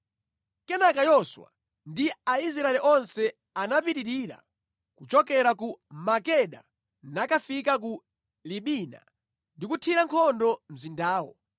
Kenaka Yoswa ndi Aisraeli onse anapitirira kuchokera ku Makeda nakafika ku Libina ndi kuthira nkhondo mzindawo.